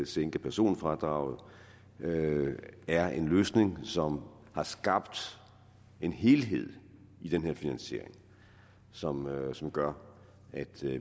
sænke personfradraget er en løsning som har skabt en helhed i den her finansiering som som gør at